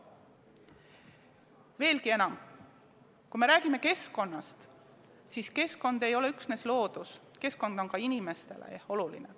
Veelgi enam, kui me räägime keskkonnast, siis keskkond ei ole üksnes loodus, keskkond on ka inimestele oluline.